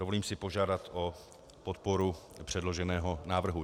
Dovolím si požádat o podporu předloženého návrhu.